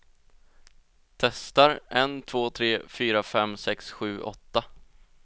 Testar en två tre fyra fem sex sju åtta.